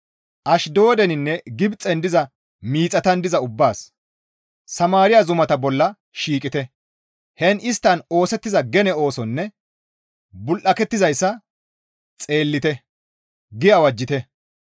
Ashdoodeninne Gibxen diza miixatan diza ubbaas, «Samaariya zumata bolla shiiqite; heen isttan oosettiza gene oosonne bul7aketizayssa xeellite» gi awajjite.